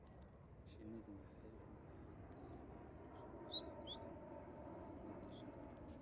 Shinnidu waxay u baahan tahay waxbarasho ku saabsan cudurrada shinnida.